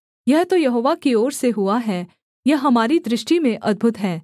यह तो यहोवा की ओर से हुआ है यह हमारी दृष्टि में अद्भुत है